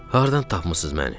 Hardan tapmısız məni?